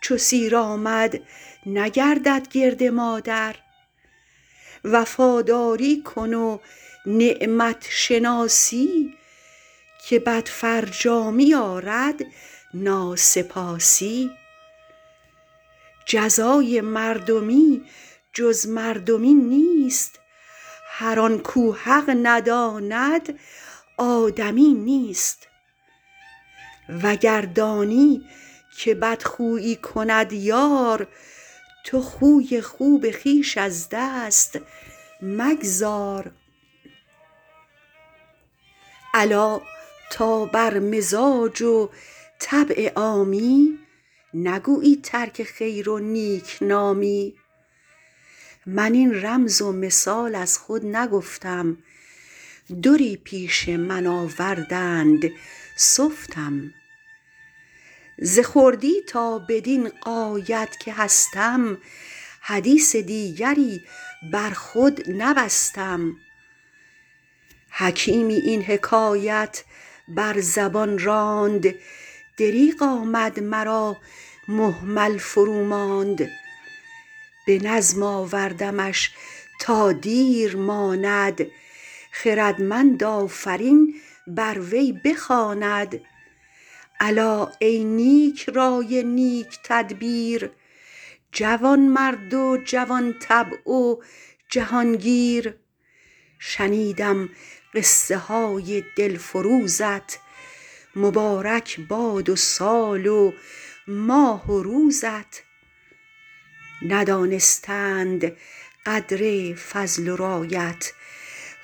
چو سیر آمد نگردد گرد مادر وفاداری کن و نعمت شناسی که بد فرجامی آرد ناسپاسی جزای مردمی جز مردمی نیست هر آن کاو حق نداند آدمی نیست وگر دانی که بدخویی کند یار تو خوی خوب خویش از دست مگذار الا تا بر مزاج و طبع عامی نگویی ترک خیر و نیکنامی من این رمز و مثال از خود نگفتم دری پیش من آوردند سفتم ز خردی تا بدین غایت که هستم حدیث دیگری بر خود نبستم حکیمی این حکایت بر زبان راند دریغ آمد مرا مهمل فرو ماند به نظم آوردمش تا دیر ماند خردمند آفرین بر وی بخواند الا ای نیکرای نیک تدبیر جوانمرد و جوان طبع و جهانگیر شنیدم قصه های دلفروزت مبارک باد سال و ماه روزت ندانستند قدر فضل و رایت